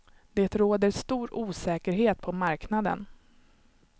Det råder stor osäkerhet på marknaden.